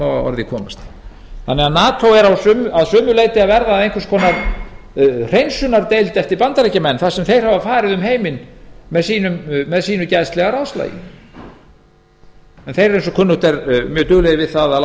má að orði komast nato er því að sumu leyti að verða að einhvers konar hreinsunardeild eftir bandaríkjamenn þar sem þeir hafa farið um heiminn með sínu geðslega ráðslagi þeir eru eins og kunnugt er mjög duglegir við að